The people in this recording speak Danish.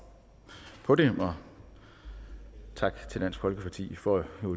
på det så tak til dansk folkeparti for